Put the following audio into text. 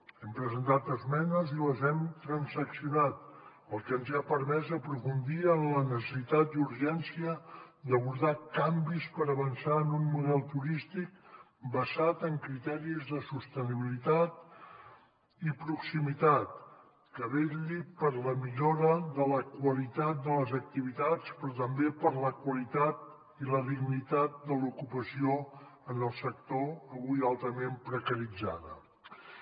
hi hem presentat esmenes i les hem transaccionat cosa que ens ha permès aprofundir en la necessitat i urgència d’abordar canvis per avançar en un model turístic basat en criteris de sostenibilitat i proximitat que vetlli per la millora de la qualitat de les activitats però també per la qualitat i la dignitat de l’ocupació en el sector avui altament precaritzades